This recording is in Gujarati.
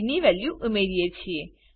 ની વેલ્યુ ઉમેરીએ છીએ